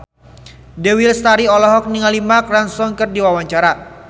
Dewi Lestari olohok ningali Mark Ronson keur diwawancara